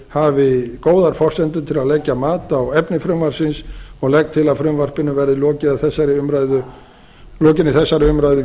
hafi góðar forsendur til að leggja mat á hæfni frumvarpsins og legg til að frumvarpinu verði að lokinni þessari umræðu